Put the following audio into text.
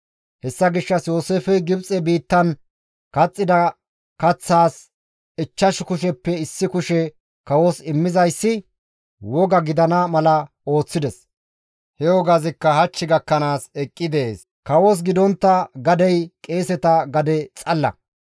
Hessa gishshas Yooseefey Gibxe biittan kaxxida kaththaas ichchash kusheppe issi kushe kawos immizayssi woga gidana mala ooththides. He wogazikka hach gakkanaas eqqi dees. Kawos gidontta gadey qeeseta gade xalla.